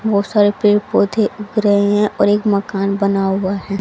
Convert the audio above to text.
बहोत सारे पेड़ पौधे उग रहे हैं और एक मकान बना हुआ है।